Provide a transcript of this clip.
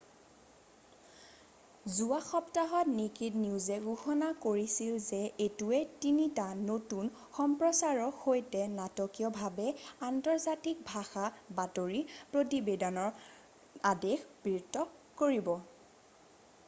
যোৱা সপ্তাহত নেকেড নিউজে ঘোষণা কৰিছিল যে এইটোৱে তিনিটা নতুন সম্প্ৰচাৰৰ সৈতে নাটকীয়ভাৱে আন্তৰ্জাতিক ভাষাৰ বাতৰি প্ৰতিবেদনৰ আদেশ বৃদ্ধি কৰিব